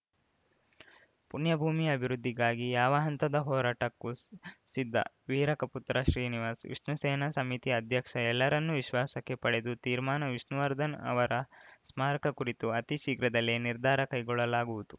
ಪುಣ್ಯಭೂಮಿ ಅಭಿವೃದ್ಧಿಗಾಗಿ ಯಾವ ಹಂತದ ಹೋರಾಟಕ್ಕೂ ಸಿದ್ಧ ವೀರಕಪುತ್ರ ಶ್ರೀನಿವಾಸ್‌ ವಿಷ್ಣು ಸೇನಾ ಸಮಿತಿ ಅಧ್ಯಕ್ಷ ಎಲ್ಲರನ್ನೂ ವಿಶ್ವಾಸಕ್ಕೆ ಪಡೆದು ತೀರ್ಮಾನ ವಿಷ್ಣುವರ್ಧನ್‌ ಅವರ ಸ್ಮಾರಕ ಕುರಿತು ಅತಿ ಶೀಘ್ರದಲ್ಲೇ ನಿರ್ಧಾರ ಕೈಗೊಳ್ಳಲಾಗುವುದು